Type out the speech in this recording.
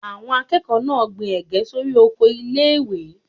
Àwọn akẹ́kọ̀ọ́ náà gbin Ẹ̀gẹ́ sórí oko ilé ìwé.